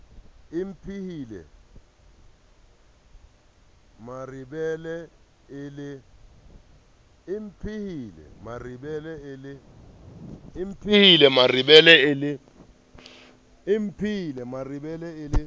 e mpehile merebele e le